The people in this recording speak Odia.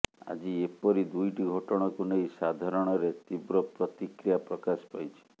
ଆଜି ଏପରି ଦୁଇଟି ଘଟଣାକୁ ନେଇ ସାଧାରଣରେ ତୀବ୍ର ପ୍ରତିକ୍ରିୟା ପ୍ରକାଶ ପାଇଛି